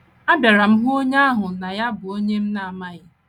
Abịara m hụ onye ahụ n’anya bụ́ onye m na - amaghị.